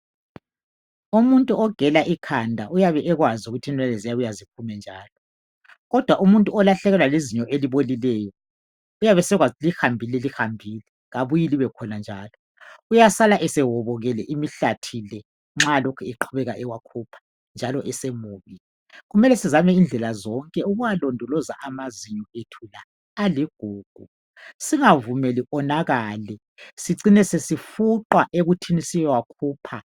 Umuntu ogela ikhanda uyabe ekwazi ukuthi inwele ziyabuya ziphume njalo kodwa umuntu olahlekelwa lizinyo elibolileyo uyabe esekwazi ukuthi lihambile lihambile kalibuyi libekhona njalo uyasala esewobokele imihlathi le nxa elokhe ewakhupha njalo esemubi. Kumele sizame indlela zonke ukuwalondoloza amazinyo ethu la aligugu singavumeli konakale sicine sesifuqwa ekuthi siyewakhupha.